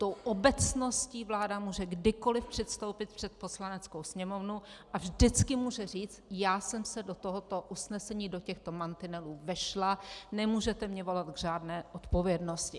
Tou obecností vláda může kdykoliv předstoupit před Poslaneckou sněmovnu a vždycky může říct: Já jsem se do tohoto usnesení, do těchto mantinelů vešla, nemůžete mě volat k žádné odpovědnosti.